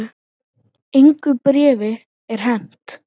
Engu bréfi er hent